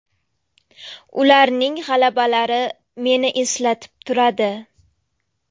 Ularning g‘alabalari meni eslatib turadi.